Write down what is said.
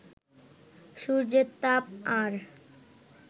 সূর্যের তাপ আর